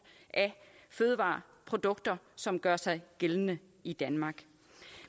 af fødevareprodukter som gør sig gældende i danmark